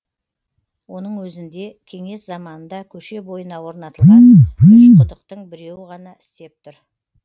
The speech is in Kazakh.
оның өзінде кеңес заманында көше бойына орнатылған үш құдықтың біреуі ғана істеп тұр